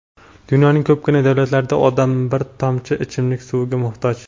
Dunyoning ko‘pgina davlatlarida odamlar bir tomchi ichimlik suviga muhtoj.